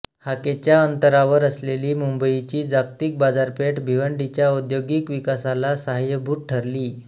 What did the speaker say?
हाकेच्या अंतरावर असलेली मुंबईची जागतिक बाजारपेठ भिवंडीच्या औद्योगिक विकासाला साहाय्यभूत ठरली